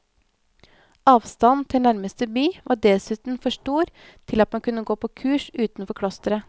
Avstanden til nærmeste by var dessuten for stor til at man kunne gå på kurs utenfor klosteret.